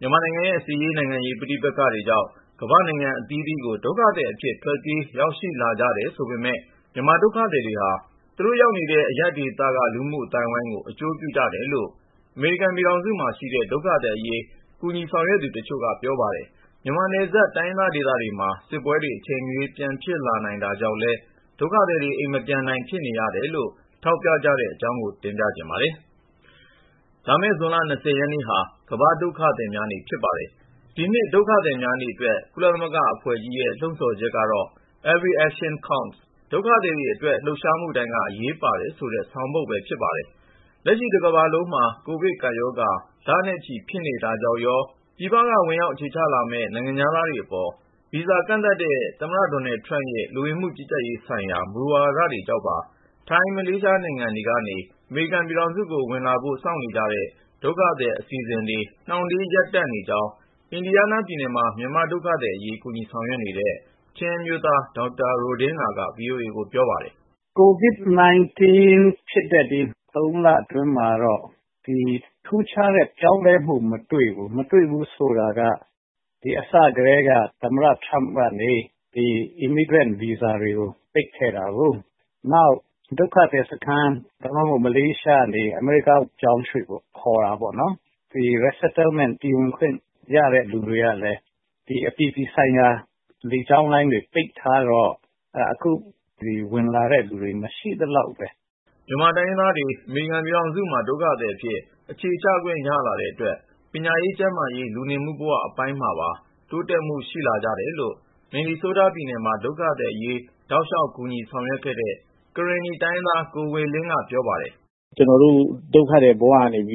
မြန်မာနိုင်ငံရဲ့ စစ်ရေး နိုင်ငံရေး ပဋိပက္ခတွေကြောင့် ကမ္ဘာ့နိုင်ငံအသီးသီးကို ဒုက္ခသည်အဖြစ် ထ ွက်ပြေး ရောက်ရှိလာကြတယ် ဆိုပေမဲ့ မြန်မာဒုက္ခသည်တွေဟာ သူတို့ရောက်ရာ အရပ်ဒေသက လူမှုအသိုင်းအဝိုင်းကို အကျိုးပြုကြတယ်လို့ အမေရိကန်ပြည်ထောင်စုမှာရှိတဲ့ ဒုက္ခသည်အရေး ဆောင်ရွက်သူတချို့က ပြောပါတယ်။ မြန်မာနယ်စပ် တိုင်းရင်းသားဒေသတွေမှာ စစ်ပွဲတွေ အချိန်မရရွေး ပြန်ဖြစ်လာနိုင်တဲ့ အခြေအနေကြောင့်လည်း ဒုက္ခသည်တွေ အိမ်မပြန်နိုင် ဖြစ်နေရတယ်လို့ ထောက်ပြကြတဲ့အကြောင်း ကိုဉာဏ်ဝင်းအောင်က တင်ပြထားပါတယ်။ လာမယ့် ဇွန်လ ရက်နေ့ဟာ ကမ္ဘာ့ဒုက္ခသည်များနေ့ ဖြစ်ပါတယ်။ ဒီနှစ် ဒုက္ခသည်များနေ့ အတွက် ကုလသမဂ္ဂအဖွဲ့ကြီးရဲ့ လှုံ့ဆော်ချက်ကတော့ Every Action Counts ဒုက္ခသည်တွေ အတွက်လှုပ်ရှားမှုတိုင်းက အရေးပါတယ်ဆိုတဲ့ ဆောင်ပုဒ်ပဲ ဖြစ်ပါတယ်။ လက်ရှိ တကမ္ဘာလုံးမှာ ကိုဗစ်ကပ်ရောဂါ လနဲ့ချီ ဖြစ်နေတာကြောင့်ရော ၊ ပြည်ပက ဝင်ရောက်အခြေချလာမယ့် နိုင်ငံခြားသားတွေအပေါ် ဗီဇာကန့်သတ်တဲ့ အမေရိကန် သမ္မတ ဒေါ်နယ်ထရမ့်ရဲ့ လူဝင်မှုကြီးကြပ်ရေးဆိုင်ရာ မူဝါဒတွေကြောင့်ပါ ထိုင်း၊ မလေးရှား နိုင်ငံတွေကနေ အမေရိကန်ပြည်ထောင်စုကို ဝင်လာဖို့ စောင့်နေကြတဲ့ ဒုက္ခသည်အစီစဉ်တွေ နှောင့်နှေး ရပ်တန့်နေကြောင်း အင်ဒီယားနားပြည်နယ် မှာ မြန်မာဒုက္ခသည်အရေး ကူညီဆောင်ရွက်နေတဲ့ ချင်းအမျိုးသား ဒေါက်တာ ရိုဒင်းဂါက VOA ကိုပြောပါတယ်။ " COVID-19 ဖြစ်တဲ့ ဒီ ၃ လအတွင်းမှာတော့ ထူးခြားတဲ့ ပြောင်းလဲမှု မတွေ့ဘူး၊ မတွေ့ဘူး ဆိုတာက အစကတည်းက သမ္မတ ထရမ့်က ဒီ ရွှေ့ပြောင်း အခြေချခွင့် Immigrant ဗီဇာကို ပိတ်ထားခဲ့တာရော ၊ နောက်ပြီး ဒုက္ခသည်စခန်းကနေ ဥပမာ မလေးရှားကနေ ဒီအမေရိကားကို ပြောင်းရွှေ့ဖို့ ခေါ်တဲ့ Resettlement ပြည်ဝင်ခွင့် ရတဲ့သူတွေကလည်း အပြည်ပြည်ဆိုင်ရာ လေကြောင်းလိုင်းတွေ လေဆိပ်တွေပိတ်ထားတော့ အခုဆို ဝင်လာတဲ့သူ မရှိသလောက်ပဲ။ " မြန်မာတိုင်းရင်းသားတွေ အမေရိကန်ပြည်ထောင်စုမှာ ဒုက္ခသည်အဖြစ် အခြေချခွင့်ရလာတဲ့အတွက် ပညာရေး၊ ကျန်းမာရေး၊ လူနေမှုဘဝ အပိုင်းမှာပါတိုးတက်မှုရှိလာကြတယ်လို့ မင်နီဆိုးတား ပြည်နယ်မှာ ဒုက္ခသည်အရေး တောက်လျောက် ကူညီဆောင်ရွက်ခဲ့တဲ့ ကရင်နီတိုင်းရင်းသား ကိုဝေလင်းက ပြောပါတယ်။ " ကျနော်တို့ ဒုက္ခသည်ဘဝကနေ ဒီ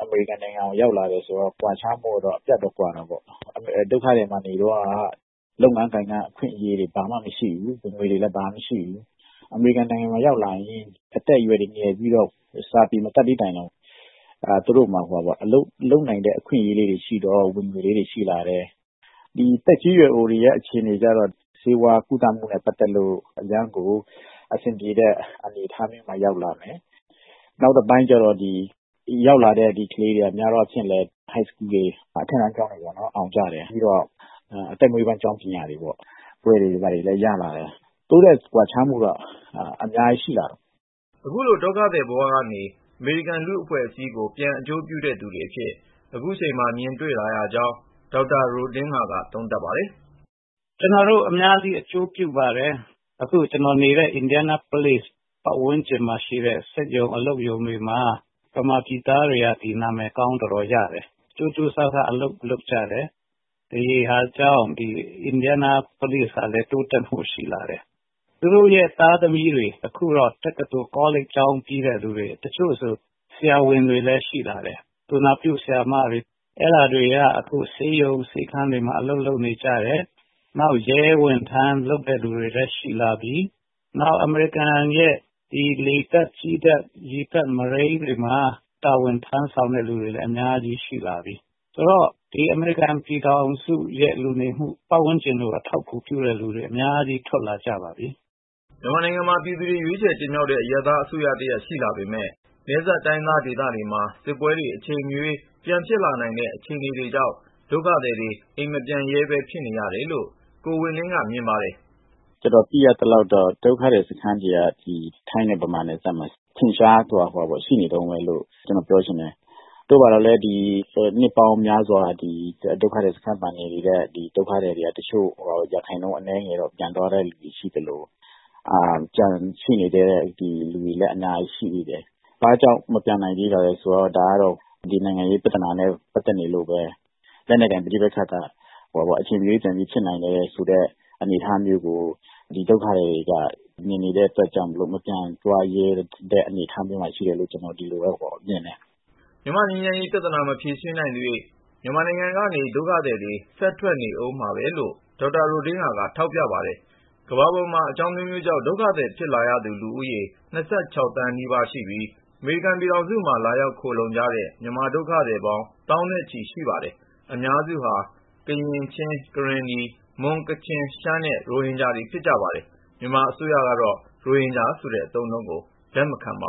အမေရိကန်ကို ရောက်လာတဲ့အခါကျတော့ အပြတ်သပ် ကွာခြားမှု ရှိတာပေါ့။ ဒုက္ခသည်ဘဝတုန်းက လုပ်ငန်းကိုင်ငန်း အခွင့်အရေး ဘာမှမရှိဘူး ဝင်ငွေလည်း မရှိဘူး။ အမေရိကန်နိုင်ငံကို ရောက်လာရင် အသက်ရွယ်ငယ်ပြီး စာမတတ်သည့် တိုင်အောင် သူတို့မှာ အလုပ်လုပ်နိုင်တဲ့ အခွင့်အရေးတွေရှိတော့ ဝင်ငွေလည်း ရှိလာတယ်။ သက်ကြီးရွယ်အိုတွေ ဆိုရင် ဆေးဝါးကုသမှု ရတော့ အရမ်းအဆင်ပြေတဲ့အနေအထားမျိုး ရောက်လာတယ်။ နောက်တပိုင်းကျပြန်တော့ ရောက်လာတဲ့ ကလေးတွေက ဒီမှာ အထက်တန်းကျောင်းတွေ အောင်ကြတယ်။ ပြီးတော့ အသက်မွေးဝမ်းကျောင်းပညာတွေ ဘွဲ့တွေ ဘာတွေရလာတယ်။ တိုးတက်ကွာခြားမှု အများကြီး ရှိလာတယ်ပေါ့။ " အခုလို ဒုက္ခသည်ဘဝကနေ အမေရိကန် လူ့အဖွဲ့အစည်းကို ပြန်အကျိုးပြုတဲ့ သူတွေအဖြစ် ခုချိန်မှာ မြင်တွေ့လာရကြောင်း ဒေါက်တာ ရိုဒင်းဂါက သုံးသပ်ပါတယ်။ " ကျနော်တို့ အများကြီး အကျိုးပြုပါတယ်။ အခုကျနော်နေတဲ့ Indianapolis မြို့ ပတ်ဝန်းကျင်မှာ ရှိတဲ့ စက်ရုံ အလုပ်ရုံတွေမှာ မြန်မာပြည်သားတွေက ကြိုးကြိုးစားစား အလုပ်လုပ်ကြတယ် နာမည်ကောင်း တော်တော်ရတယ်။ အဲဒါကြောင့် အင်ဒီယာနားပုလိဇ် မြို့ဟာလည်း တိုးတက်မှု ရှိလာတယ်။ ဒုက္ခသည်တွေရဲ့ သားသမီးတွေ အခုဆိုရင် တက္ကသိုလ် ကောလိပ်ကျောင်းပြီးတဲ့သူတွေ တချို့ဆို ဆရာဝန်တွေလည်း ရှိလာတယ်။ သူနာပြုတွေလည်း ဖြစ်လာကြတယ် အခုဆို ဆေးရုံဆေးခန်းတွေမှာ အလုပ်လုပ်နေကြပြီ၊ နောက် ရဲဝန်ထမ်း လုပ်တဲ့သူတွေလည်း ရှိလာပြီ။ နောက် အမေရိကန်ရဲ့ လေတပ်၊ ကြည်းတပ် ၊ရေတပ် ၊မရိန်းတွေမှာ တာဝန်ထမ်းဆောင်တဲ့လူတွေလည်း အများကြီး ရှိလာပြီ။ ဆိုတော့ ဒီအမေရိကန် ပြည်ထောင်စုရဲ့ လူမှုပတ်ဝန်းကျင်ကို အထောက်အကူပြုတဲ့လူတွေ အများကြီး ပေါ်ထွက်လာကြပါတယ်။ " မြန်မာနိုင်ငံမှာ ပြည်သူတွေ ရွေးချယ်တင်မြှောက်ထားတဲ့ အရပ်သားအစိုးရတရပ် ရှိလာပေမဲ့ နယ်စပ်တိုင်းရင်းသား ဒေသတွေမှာ စစ်ပွဲတွေ အချိန်မရွေး ပြန်ဖြစ်လာနိုင်တဲ့ အခြေအနေတွေကြောင့် ဒုက္ခသည်တွေ အိမ်မပြန်ရဲပဲ ဖြစ်နေရတယ်လို့ ကိုဝေလင်းက မြင်ပါတယ်။ " ကျနော် သိရသလောက်တော့ ဒုက္ခသည်စခန်းတွေက ဒီ ထိုင်းနဲ့ဗမာနယ်စပ်မှာ အထင်အရှား ရှိနေတုန်းပဲလို့ ပြောချင်တယ်။ သို့သော်လည်း နှစ်ပေါင်းများစွာ ဒီဒုက္ခသည်စခန်းမှာ နေနေတဲ့ ဒုက္ခသည်တွေထဲက တချို့ ရာခိုင်နှုန်းအနည်းငယ်ကတော့ ပြန်သွားတာရှိသလို ကျန်နေသေးတဲ့ လူတွေလည်း အများကြီးပဲ။ ဘာကြောင့် မပြန်နိုင်သေးတာလဲဆိုတော့ နိုင်ငံရေးပြဿနာနဲ့ ပတ်သက်နေလို့ပဲ။ လက်နက်ကိုင် ပဋိပက္ခတွေက အချိန်မရွေး ပြန်ဖြစ်နိုင်တယ်ဆိုတဲ့ အနေအထားမျိုးကို ဒီဒုက္ခသည်တွေက မြင်နေတဲ့အတွက်ကြောင့်မို့ ဒုက္ခသည်တွေက မပြန်ရဲတဲ့ အနေအထားမျိုးလို့ ကျနော်မြင်ပါတယ်။ " မြန်မာ့ငြိမ်းချမ်းရေး ပြဿနာ မဖြေရှင်းနိုင်သရွေ့ မြန်မာနိုင်ငံကနေ ဒုက္ခသည်တွေ ဆက်ထွက်နေဦးမှာပဲလို့ ဒေါက်တာရိုဒင်းဂါကလည်း ထောက်ပြပါတယ်။ ကမ္ဘာပေါ်မှာ အကြောင်းအမျိုးမျိုးကြောင့် ဒုက္ခသည်ဖြစ်လာသူ ဦးရေ သန်းနီးပါးရှိပြီး အမေရိကန်ပြည်ထောင်စုမှာ လာရောက် ခိုလှုံကြတဲ့ မြန်မာဒုက္ခသည်ပေါင်း သောင်းနဲ့ချီ ရှိပါတယ်။ အများစုဟာ ကရင်၊ ချင်း၊ ကရင်နီ၊ မွန် ၊ကချင် ၊ရှမ်းနဲ့ ရိုဟင်ဂျာတွေ ဖြစ်ကြပါတယ်။ မြန်မာအစိုးရကတော့ ရိုဟင်ဂျာဆိုတဲ့အသုံးနှုန်းကို လက်မခံပါ